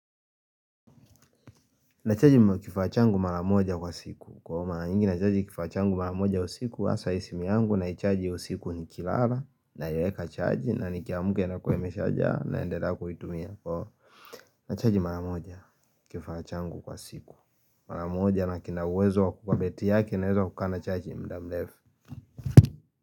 Nachaji kifaa changu mara moja kwa siku. Kwa mara nyingi nachaji kifaa changu mara moja usiku, hasa hii simu yangu naichaji usiku nikilala, naiweka chaji, na nikiamuka inakuwa meshajaa naendelea kuitumia. Nachaji mara moja kifaa changu kwa siku. Mara moja na kina uwezo kwa kuwa betri yake ina uwezo wa kukaa na chaji mda mrefu.